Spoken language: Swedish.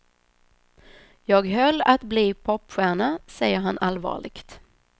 Jag höll att bli popstjärna, säger han allvarligt.